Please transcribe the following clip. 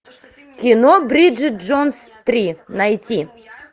кино бриджит джонс три найти